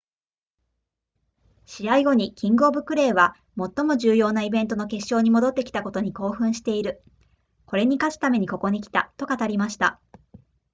試合後にキングオブクレーは最も重要なイベントの決勝に戻ってきたことに興奮しているこれに勝つためにここに来たと語りました